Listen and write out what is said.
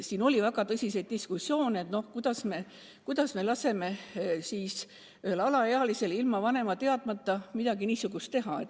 Meil oli väga tõsiseid diskussioone, kuidas me ikka laseme ühel alaealisel ilma vanema teadmata midagi niisugust teha.